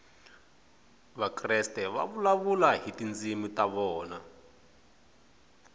vakreste va vulavula hi tindzimi ta vona